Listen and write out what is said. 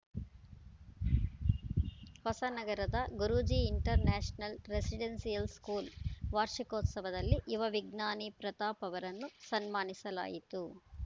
ಹೊಸನಗರದ Guruji international residential school ವಾರ್ಷಿಕೋತ್ಸವದಲ್ಲಿ ಯುವ ವಿಜ್ಞಾನಿ ಪ್ರತಾಪ್‌ ಅವರನ್ನು ಸನ್ಮಾನಿಸಲಾಯಿತು